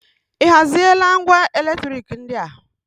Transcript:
Ị haziela ngwa eletriki ndị a?